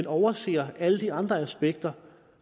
overser alle de andre aspekter